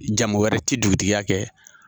Jamu wɛrɛ ti dugutigiya kɛ.